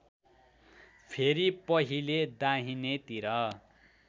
फेरि पहिले दाहिनेतिर